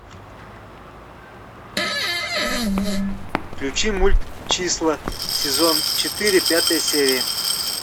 включи мульт числа сезон четыре пятая серия